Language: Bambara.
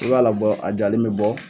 I b'a labɔ la jalen be bɔ